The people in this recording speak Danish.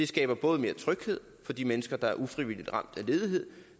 skaber både mere tryghed for de mennesker der ufrivilligt er ramt af ledighed